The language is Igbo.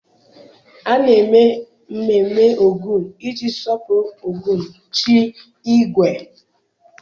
A na-eme mmemme Ogun iji sọpụrụ Ogun chi ígwè